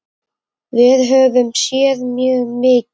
Við höfum séð mjög mikið.